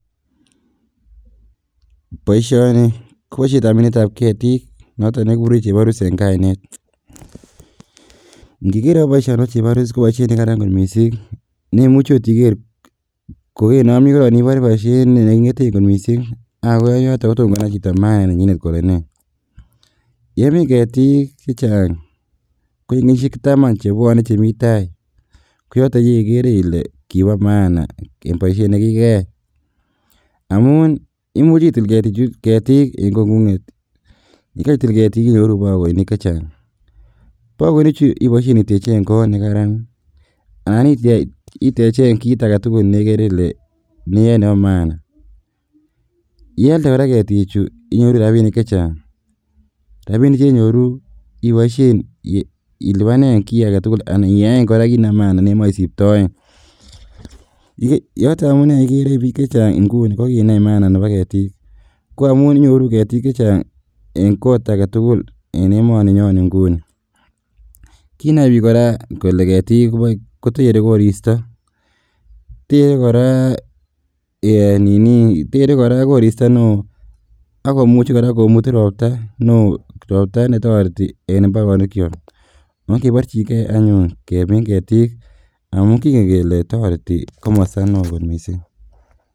Boisioni koboishetab minetab ketik noton nekikuren cheborus en kainet, ingiker boisioni bo cheborus koboishet nekaran kot misink nemuche ot iker kokenome korong ibore boisiet nekingeten kot misink aa kokoyoton kotom konai chito maana nenyin kole nee , yemin ketik chechang ko en kenyishiek taman chemitai koyoton yekere ile kibo maana boisiet nekikeyai amun imuche itil ketik en kongunget yekeitil ketik inyoru bokoinik chechang, bokoinichu iboisien iteken kot nekaran anan itechen kit agetugul nekaran nekere ile bo maana ilada koraa ketichu inyoru rabisiek chechang, rabisiek chenyoru iboisien ilibanen ki agetugul anan iyaen koraa kit nebo maana nemoe isiptoen yoton amune ikere bik chechang inguni kokinai maana nebo ketik ko amun inyoru ketik chechang en kot agetugul en emoni nyon inguni, kinai bik koraa kole ketik kotoreti koristo tere koraa ee nini, tere koraa koristo neo akomuche koraa komutu ropta neo, ropta netoreti en imbarenikiok ongeborjingee anyun kemin ketik amun kingen kele toreti komosto neo kot misink.